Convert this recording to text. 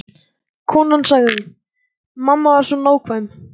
Konan sagði: Mamma var svo nákvæm.